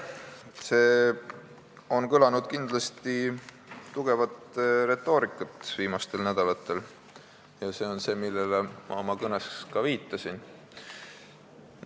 Viimastel nädalatel on kindlasti tugevat retoorikat kõlanud ja see on see, millele ma oma kõnes ka viitasin.